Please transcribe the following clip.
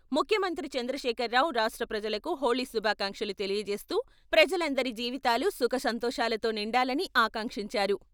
ముఖ్యమంత్రి చంద్రశేఖర్రావు రాష్ట్రప్రజలకు హోళీ శుభాకాంక్షలు తెలియజేస్తూ ప్రజలందరి జీవితాలు సుఖసంతోషాలతో నిండాలని ఆకాంక్షించారు.